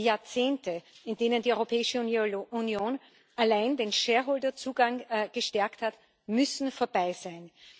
Die Jahrzehnte, in denen die Europäische Union allein den Shareholder Zugang gestärkt hat, müssen vorbei sein!